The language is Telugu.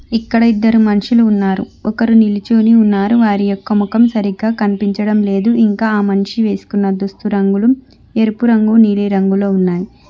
ఇక్కడ ఇద్దరు మనుషులు ఉన్నారు ఒకరు నిలుచొని ఉన్నారు వారి యొక్క ముఖం సరిగ్గా కన్పించడం లేదు ఇంకా ఆ మనిషి వేసుకున్న దుస్తు రంగులు ఎరుపు రంగు నీలిరంగులో ఉన్నాయ్.